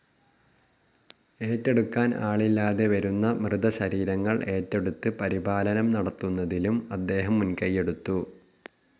ഏറ്റെടുക്കാൻ ആളില്ലാതെ വരുന്ന മൃതശരീരങ്ങൾ ഏറ്റെടുത്ത് പരിപാലനം നടത്തുന്നതിലും അദ്ദേഹം മുൻകൈയെടുത്തു.